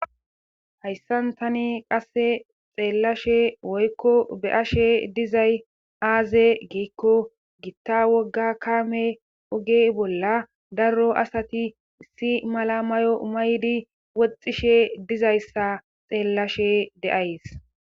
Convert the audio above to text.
Hayssan tani qasse xeellashe woykko be7ashe dizay aaze giikko gitta wogga kaame ogey bolla daro asati issi mala mayo maydi woxxishe dizayssa xeellashe deays.